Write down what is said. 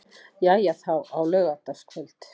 Jæja þá, á laugardagskvöld.